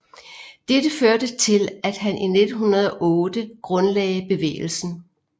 Dette førte til at han i 1908 grundlagde bevægelsen